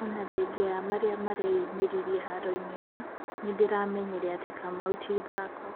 No ona thengia ya marĩa mareyumĩririe haroinĩ ĩyo nĩndĩramenyire atĩ Kamau ti ithako.